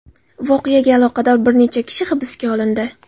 Voqeaga aloqador bir necha kishi hibsga olindi.